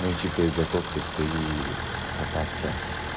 ну типа и готов ли ты кататься